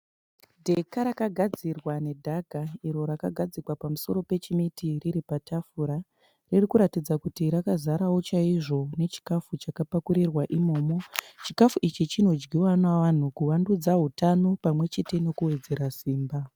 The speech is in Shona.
Dheka rakagadzirwa ne dhaga iro rakagadzikwa pamusoro pechimeti riri patafura. Riri kuratidza kuti rakazarawo chaizvo nechikafu chakapakurirwa imomo. Chikafu ichi chino dyiwa navanhu kuvandudza hutano pamwe chete nekuwedzera simba.